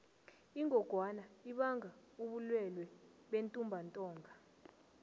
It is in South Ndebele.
ingogwana ibanga ubulwelwe bentumbantonga